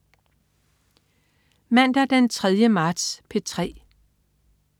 Mandag den 3. marts - P3: